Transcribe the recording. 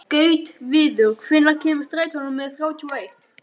Gautviður, hvenær kemur strætó númer þrjátíu og eitt?